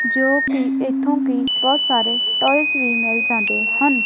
ਜੋ ਕਿ ਇਥੋਂ ਕੀ ਬਹੁਤ ਸਾਰੇ ਟੋਇਸ ਵੀ ਮਿਲ ਜਾਂਦੇ ਹਨ।